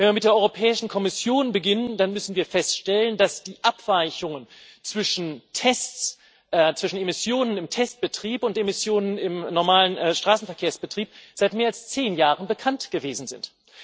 Wenn wir mit der Europäischen Kommission beginnen, dann müssen wir feststellen, dass die Abweichungen zwischen Emissionen im Testbetrieb und Emissionen im normalen Straßenverkehrsbetrieb seit mehr als zehn Jahren bekannt gewesen sind.